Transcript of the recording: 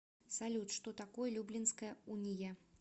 салют что такое люблинская уния